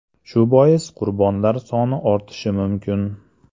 Shu bois qurbonlar soni ortishi mumkin.